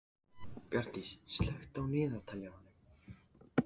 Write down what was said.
Bjarndís, slökktu á niðurteljaranum.